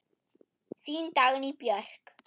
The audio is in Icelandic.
Þín Dagný Björk.